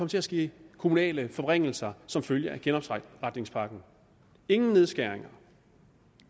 til at ske kommunale forringelser som følge af genopretningspakken ingen nedskæringer